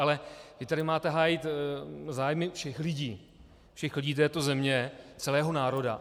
Ale vy tady máte hájit zájmy všech lidí, všech lidí této země, celého národa.